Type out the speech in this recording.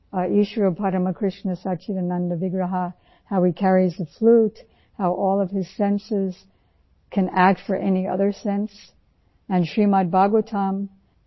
Eeshwarah paramah krishnah sachchidanand vigrahah ईश्वर परम कृष्ण सच्चिदानन्द विग्रह how He carries the flute, how all of his senses can act for any other sense and Srimad bhagwatam TCR 9